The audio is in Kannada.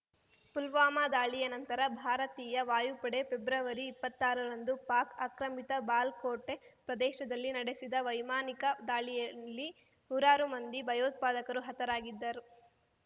ಪುಲ್ವಾಮಾ ದಾಳಿಯ ನಂತರ ಭಾರತೀಯ ವಾಯುಪಡೆ ಪೆಬ್ರವರಿ ಇಪ್ಪತ್ತಾರ ರಂದು ಪಾಕ್ ಆಕ್ರಮಿತ ಬಾಲ್ ಕೋಟೆ ಪ್ರದೇಶದಲ್ಲಿ ನಡೆಸಿದ ವೈಮಾನಿಕ ದಾಳಿಯಲ್ಲಿ ನೂರಾರು ಮಂದಿ ಭಯೋತ್ಪಾದಕರು ಹತರಾಗಿದ್ದರು